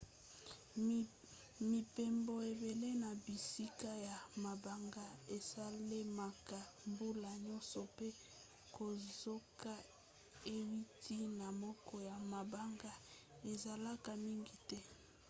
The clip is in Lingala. mibembo ebele na bisika ya mabanga esalemaka mbula nyonso pe kozoka euti na moko ya mabanga ezalaka mingi te